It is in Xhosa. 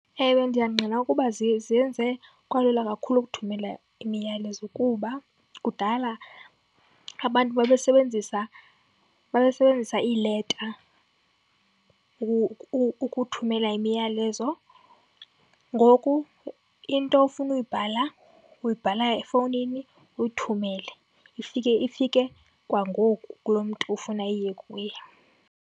Ewe, ndiyangqina ukuba zenze kwalula kakhulu ukuthumelela imiyalezo kuba kudala abantu babesebenzisa, babesebenzisa iileta ukuthumela imiyalezo. Ngoku into ofuna uyibhala, uyibhala efowunini uyithumele ifike, ifike kwangoku kulo mntu ufuna iye kuye.